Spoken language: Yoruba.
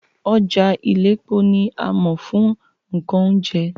Ọjà Iléepo ni a mọ̀ fún nǹkan oúnjẹ